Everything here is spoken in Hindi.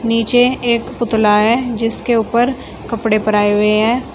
नीचे एक पुतला है जिसके ऊपर कपड़े पराये हुए हैं।